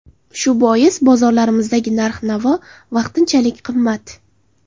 Shu bois bozorlarimizdagi narx-navo vaqtinchalik qimmat.